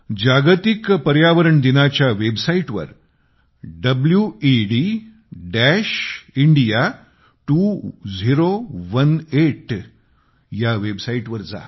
जागतिक पर्यावरण दिनाच्या वेबसाईटवर वेदिंडिया 2018 वर जा